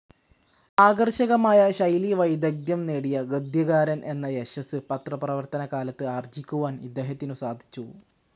ആകർഷകമായ ശൈലീവൈദഗ്ദ്ധ്യം നേടിയ ഗദ്യകാരൻ എന്ന യശസ്സ് പത്രപ്രവർത്തനകാലത്ത് ആർജിക്കുവാൻ ഇദ്ദേഹത്തിനു സാധിച്ചു.